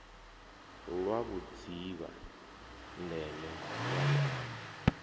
lwa vhudzivha ndeme ya luambo